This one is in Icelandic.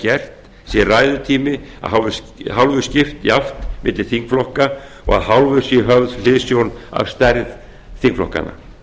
er gert sé ræðutíma að hálfu skipt jafnt milli þingflokka og að hálfu sé höfð hliðsjón af stærð þingflokkanna